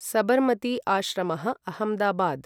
सबरमति आश्रमः, अहमदाबाद्